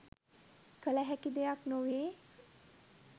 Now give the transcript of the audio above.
කළ හැකි දෙයක් නොවේ.